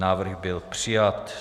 Návrh byl přijat.